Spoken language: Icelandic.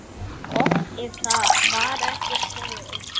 Gott ef það var ekki spói.